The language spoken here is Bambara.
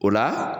O la